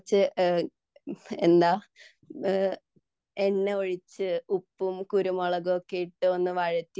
കുറച്ചു എന്ന ഒഴിച്ച് ഉപ്പും കുരുമുളകും ഒക്കെ ഇട്ട് ഒന്ന് വഴറ്റി